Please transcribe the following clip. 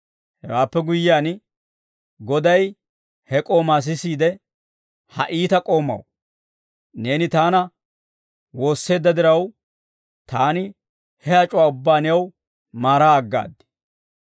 «Hewaappe guyyiyaan, goday he k'oomaa s'eesiide, ‹Ha iita k'oomaw, neeni taana woosseedda diraw, taani he ac'uwaa ubbaa new maaraa aggaad.